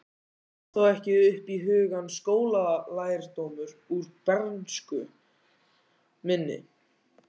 Kom þá ekki upp í hugann skólalærdómur úr bernsku minni.